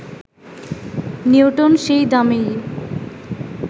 Newton সেই দামেই